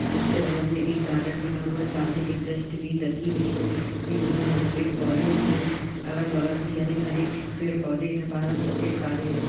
उसके बगल में एक गार्डन बना हुआ है। सामने एक डस्टबिन रखी हुई है। ये जिसमें हरे पेड़-पौधे भी हैं। अगल-बगल भी हरे भरे पेड़-पौधे भी हैं। बादल सफेद-काले हैं।